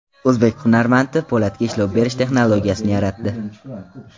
O‘zbek hunarmandi po‘latga ishlov berish texnologiyasini yaratdi.